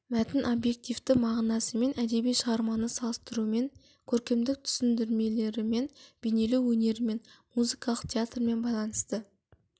мәтін объективті мағынасымен әдеби шығарманы салыстырумен көркемдік түсіндірмелерімен бейнелеу өнерімен музыкалық театрмен байланысты